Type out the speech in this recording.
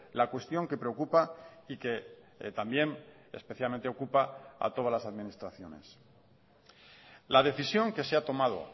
la cuestión que preocupa y que también especialmente ocupa a todas las administraciones la decisión que se ha tomado